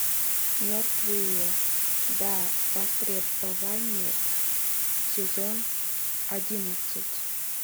мертвые до востребования сезон одиннадцать